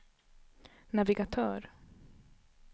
navigatör